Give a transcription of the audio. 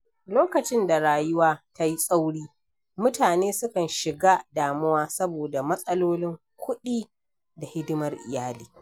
Lokacin da rayuwa ta yi tsauri, mutane sukan shiga damuwa saboda matsalolin kuɗi da hidimar iyali.